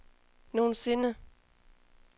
nogensinde